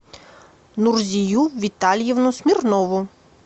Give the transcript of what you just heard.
нурзию витальевну смирнову